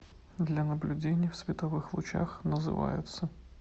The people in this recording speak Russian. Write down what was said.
для наблюдений в световых лучах называются